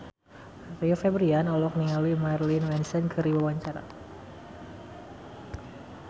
Rio Febrian olohok ningali Marilyn Manson keur diwawancara